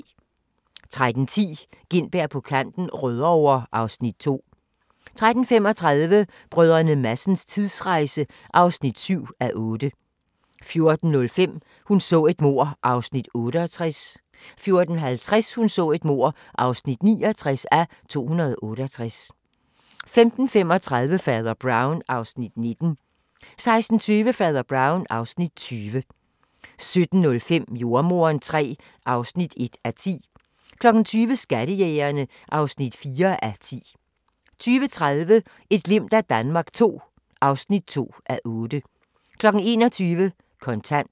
13:10: Gintberg på kanten - Rødovre (Afs. 2) 13:35: Brdr. Madsens tidsrejse (7:8) 14:05: Hun så et mord (68:268) 14:50: Hun så et mord (69:268) 15:35: Fader Brown (Afs. 19) 16:20: Fader Brown (Afs. 20) 17:05: Jordemoderen III (1:10) 20:00: Skattejægerne (4:10) 20:30: Et glimt af Danmark II (2:8) 21:00: Kontant